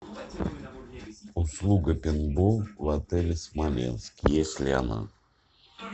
услуга пейнтбол в отеле смоленск есть ли она